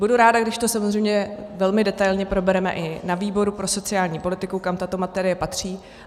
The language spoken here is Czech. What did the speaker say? Budu ráda, když to samozřejmě velmi detailně probereme i na výboru pro sociální politiku, kam tato materie patří.